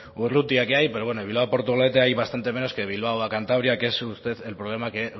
urrutia que hay pero bueno de bilbao a portugalete hay bastante menos que de bilbao a cantabria que es el problema que